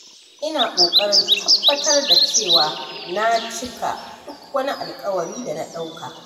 Ina kokarin tabbatar da cewa na cika duk wani alƙawari da na ɗauka.